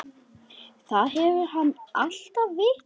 Það hefur hann alltaf vitað.